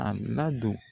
A ladon